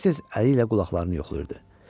Tez-tez əli ilə qulaqlarını yoxlayırdı.